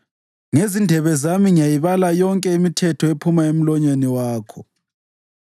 Ngezindebe zami ngiyayibala yonke imithetho ephuma emlonyeni wakho.